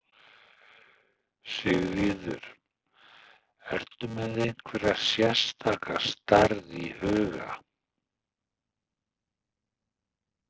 Sigríður: Ertu með einhverja sérstaka stærð í huga?